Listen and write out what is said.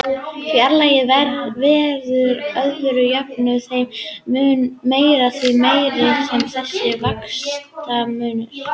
Flæðið verður að öðru jöfnu þeim mun meira, því meiri sem þessi vaxtamunur er.